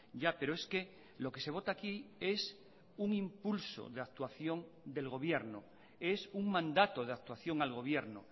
ya pero es que lo que se vota aquí es un impulso de actuación del gobierno es un mandato de actuación al gobierno